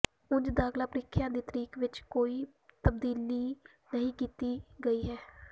ਉਂਝ ਦਾਖ਼ਲਾ ਪ੍ਰੀਖਿਆ ਦੀ ਤਰੀਕ ਵਿੱਚ ਕੋਈ ਤਬਦੀਲੀ ਨਹੀਂ ਕੀਤੀ ਗਈ ਹੈ